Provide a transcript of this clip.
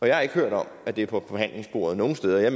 jeg har ikke hørt om at det er på forhandlingsbordet nogen steder og jeg